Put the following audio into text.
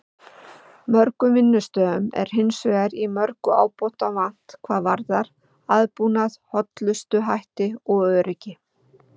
Mörgum vinnustöðum er hins vegar í mörgu ábótavant hvað varðar aðbúnað, hollustuhætti og öryggi.